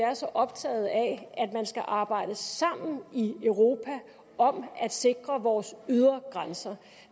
er så optaget af at man skal arbejde sammen i europa om at sikre vores ydre grænser